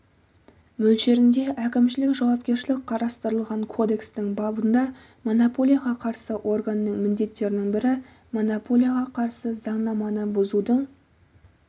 мөлшерінде әкімшілік жауапкершілік қарастырылған кодекстің бабында монополияға қарсы органның міндеттерінің бірі монополияға қарсы заңнаманы бұзудың